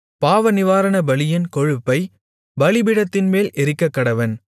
பாவநிவாரணபலியின் கொழுப்பைப் பலிபீடத்தின்மேல் எரிக்கக்கடவன்